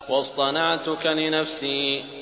وَاصْطَنَعْتُكَ لِنَفْسِي